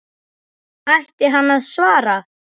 Ætti hann að svara?